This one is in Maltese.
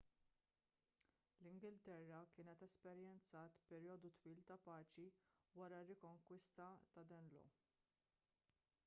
l-ingilterra kienet esperjenzat perjodu twil ta' paċi wara r-rikonkwista tad-danelaw